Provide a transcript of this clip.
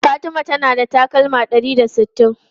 Fatima tana da takalma ɗari da sittin.